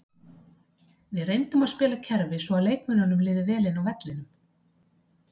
Við reyndum að spila kerfi svo að leikmönnunum liði vel inni á vellinum.